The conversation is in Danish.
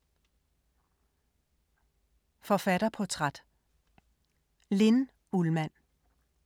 Forfatterportræt: Linn Ullmann